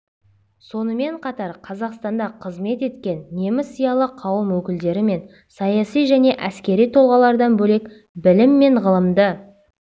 сонымен қатар қазақстанда қызмет еткен неміс зиялы қауым өкілдері мен саяси және әскери тұлғалардан бөлек білім мен ғылымды